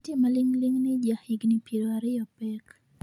nitie maling'ling ni ja higni piero ariyo pek